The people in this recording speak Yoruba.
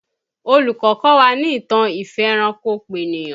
Olùkọ́ kọ́ wa ní ìtàn ìfẹranko-peniyan